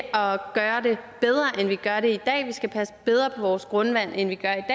gøre det bedre end vi gør det i dag vi skal passe bedre på vores grundvand end vi gør